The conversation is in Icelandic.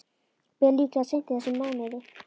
Ber líklega seint í þessum mánuði.